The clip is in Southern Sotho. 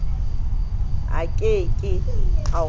a ke ke a o